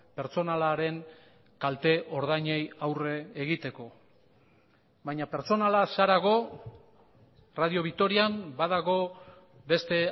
pertsonalaren kalte ordainei aurre egiteko baina pertsonalaz harago radio vitorian badago beste